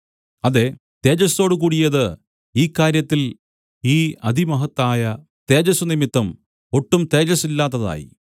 അതേ തേജസ്സോടുകൂടിയത് ഈ കാര്യത്തിൽ ഈ അതിമഹത്തായ തേജസ്സുനിമിത്തം ഒട്ടും തേജസ്സില്ലാത്തതായി